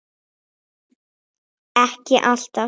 Ekki alltaf.